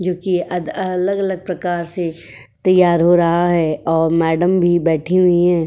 जो भी अद अलग अलग प्रकार से तैयार हो रहा है और मैंडम भी बैठी हुई हैं।